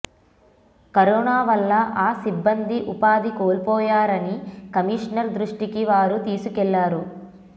corona వల్ల ఆ సిబ్బంది ఉపాధి కోల్పోయారని కమిషనర్ దృష్టికి వారు తీసుకెళ్లారు